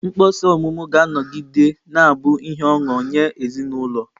Mkpọsa ọmụmụ ga-anọgide na-abụ ihe ọṅụ nye ezinụlọ.